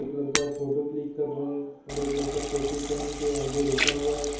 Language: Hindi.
लरका फोटो क्लिक कर रहा है और एक लरका टोपी पहन के आगे रुका हुआ है।